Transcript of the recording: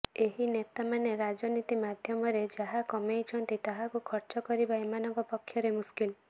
ଏହି ନେତାମାନେ ରାଜନୀତି ମାଧ୍ୟମରେ ଯାହା କମେଇଛନ୍ତି ତାହାକୁ ଖର୍ଚ୍ଚ କରିବା ଏମାନଙ୍କ ପକ୍ଷରେ ମୁସ୍କିଲ